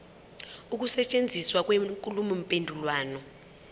ukusetshenziswa kwenkulumo mpendulwano